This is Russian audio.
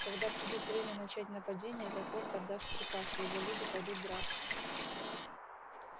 когда придёт время начать нападение лепольд отдаст приказ и его люди пойдут драться